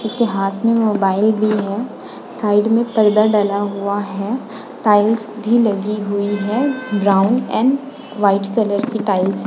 उस के हाथ में मोबाइल भी है। साइड में पर्दा डला हुआ है। टाइल्स भी लगी हुई है ब्राउन एंड वाइट कलर की टाइल्स --